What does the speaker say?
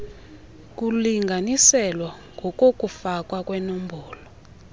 kulinganiselwa ngokokufakwa kwembono